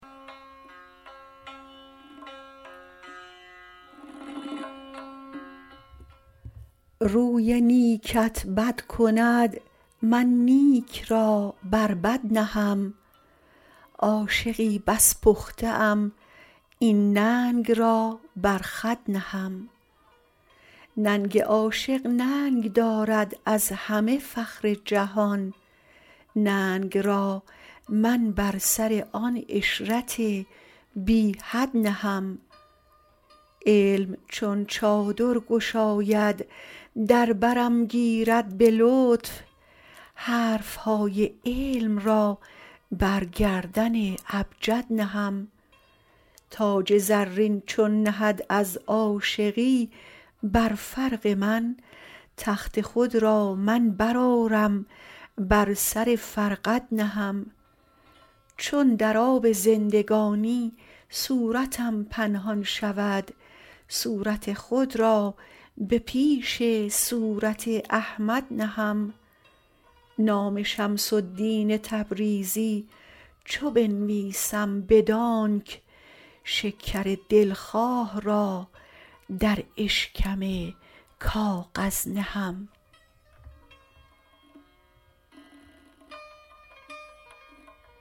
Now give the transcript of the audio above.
روی نیکت بد کند من نیک را بر بد نهم عاشقی بس پخته ام این ننگ را بر خود نهم ننگ عاشق ننگ دارد از همه فخر جهان ننگ را من بر سر آن عشرت بی حد نهم علم چون چادر گشاید در برم گیرد به لطف حرف های علم را بر گردن ابجد نهم تاج زرین چون نهد از عاشقی بر فرق من تخت خود را من برآرم بر سر فرقد نهم چون در آب زندگانی صورتم پنهان شود صورت خود را به پیش صورت احمد نهم نام شمس الدین تبریزی چو بنویسم بدانک شکر دلخواه را در اشکم کاغذ نهم